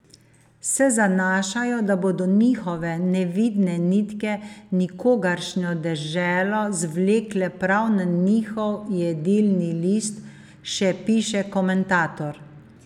Se zanašajo, da bodo njihove nevidne nitke nikogaršnjo deželo zvlekle prav na njihov jedilni list, še piše komentator.